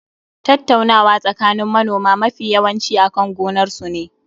Tattaunawa tsakanin manoma mafi yawanci akan gonar sune.